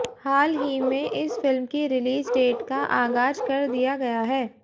हालही में इस फ़िल्म की रिलीज डेट का आगाज करदिया गया है